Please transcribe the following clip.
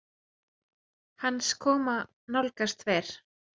Hans koma nálgast fer